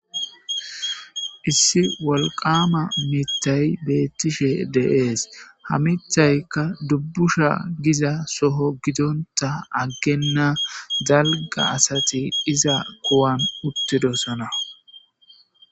Issi wolqama mitay beettishe de'es. Ha mithaykka dubbusha giza soho gidonta aggenna dalgga asati iza kuwan uttidosona.